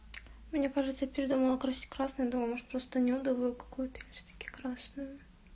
мне кажется я передумала красить красной думаю может просто нюдовую какую-то или всё-таки красную